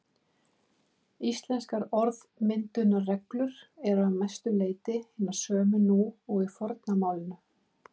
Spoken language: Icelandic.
Íslenskar orðmyndunarreglur eru að mestu leyti hinar sömu nú og í forna málinu.